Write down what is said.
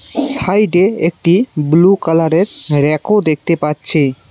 সাইডে একটি ব্লু কালারের ব়্যাকও দেখতে পাচ্ছি।